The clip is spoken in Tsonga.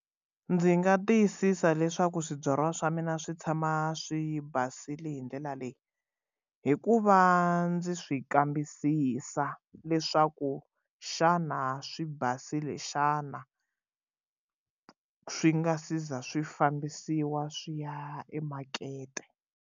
Ndzi nga tiyisisa leswaku swibyariwa swa mina swi tshama swi basile hi ndlela leyi hikuva ndzi swi kambisisa leswaku xana swi basile xana swi nga si za swi fambisiwa swi ya emakete.